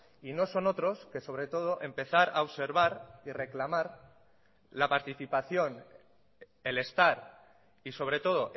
y no son otros que sobre todo empezar a observar y reclamar la participación el estar y sobre todo